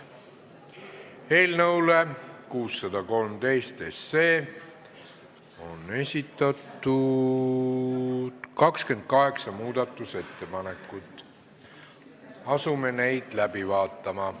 Eelnõu 613 kohta on esitatud 28 muudatusettepanekut, asume neid läbi vaatama.